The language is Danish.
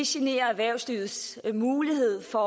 generer erhvervslivets mulighed for